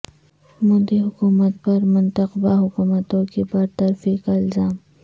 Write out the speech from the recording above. مودی حکومت پر منتخبہ حکومتوں کی برطرفی کا الزام